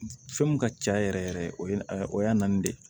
Fɛn min ka ca yɛrɛ yɛrɛ o ye o y'a naanin de ye